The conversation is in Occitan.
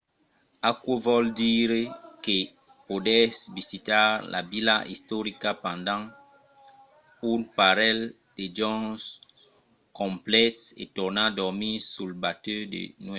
aquò vòl dire que podètz visitar la vila istorica pendent un parelh de jorns complets e tornar dormir sul batèu de nuèch